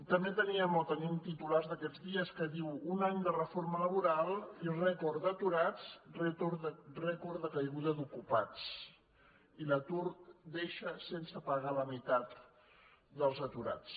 també teníem o tenim titulars d’aquests dies que diuen un any de reforma laboral i rècord d’aturats rècord de caiguda d’ocupats i l’atur deixa sense paga la meitat dels aturats